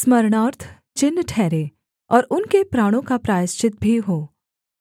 स्मरणार्थ चिन्ह ठहरे और उनके प्राणों का प्रायश्चित भी हो